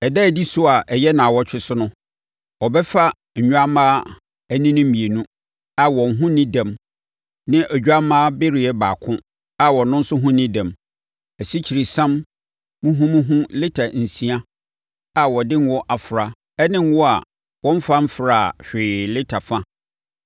“Ɛda a ɛdi so a ɛyɛ nnawɔtwe so no, ɔbɛfa nnwammaa anini mmienu a wɔn ho nni dɛm ne odwammaa bereɛ baako a ɔno nso ho nni dɛm, asikyiresiam muhumuhu lita nsia a wɔde ngo afra ne ngo a wɔmfa mfraa hwee lita fa.